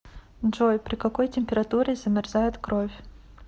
джой при какой температуре замерзает кровь